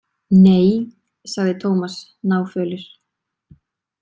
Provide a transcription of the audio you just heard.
Nei, sagði Tómas náfölur.